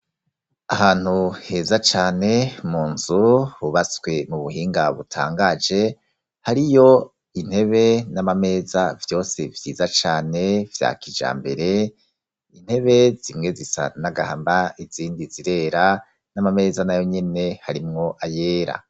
Ahantu heza cane, mu nzu hubatswe mu buhinga butangaje, hariyo intebe n'amameza vyose vyiza cane vyakija mbere, intebe zimwe zisa n'agahama, izindi zirera, n'Amameza na yonyene harimwo ayera.